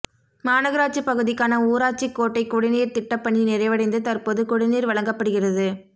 மாநகராட்சிப் பகுதிக்கான ஊராட்சிக்கோட்டை குடிநீா்த் திட்டப் பணி நிறைவடைந்து தற்போது குடிநீா் வழங்கப்படுகிறது